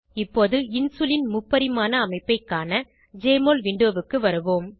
இப்போது இன்சுலின் முப்பரிமாண அமைப்பை காண ஜெஎம்ஒஎல் விண்டோவுக்கு வருவோம்